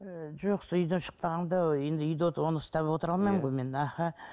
ы жоқ сол үйден шықпағанда енді үйде оны ұстап отыра алмаймын ғой мен аха